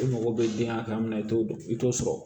E mago bɛ den hakɛ min na i t'o dɔn i t'o sɔrɔ